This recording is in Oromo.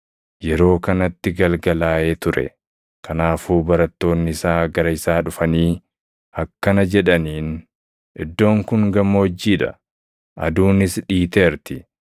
Yeroo kanatti galgalaaʼee ture; kanaafuu barattoonni isaa gara isaa dhufanii akkana jedhaniin; “Iddoon kun gammoojjii dha; aduunis dhiiteerti.